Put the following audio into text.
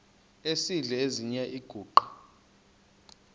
esidl eziny iziguqa